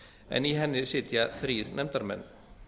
en í henni sitja þrír nefndarmenn